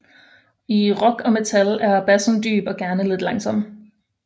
I rock og metal er bassen dyb og gerne lidt langsom